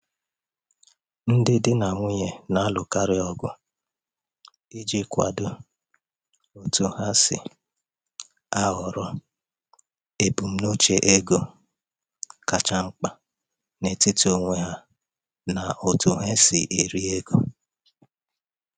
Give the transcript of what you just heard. Ndi Di na nwunye na-alụkarị ọgụ ịkwado otu ha ga-esi um họrọ ebumnuche um ego kacha mkpa n’etiti onwe ha n’otú ha um si eri ego.